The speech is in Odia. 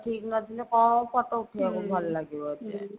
ଠିକ ନଥିଲେ କଣ photo ଉଠେଇବାକୁ ଭଲ ଲାଗିବ ଯେ